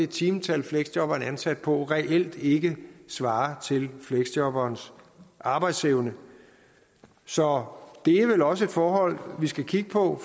timetal fleksjobberen er ansat på reelt ikke svarer til fleksjobberens arbejdsevne så det er vel også et forhold vi skal kigge på